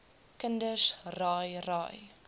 kinders raai raai